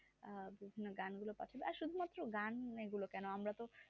আহ বিভিন্ন গান গুলো পাঠাবো আর শুধু মাত্র গুলো কেন আমারা তো